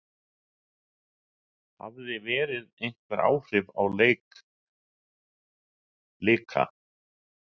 Hafði veðrið einhver áhrif á leik Blika?